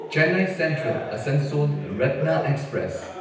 Chennai Central Asansol ꯔꯠꯅꯥ express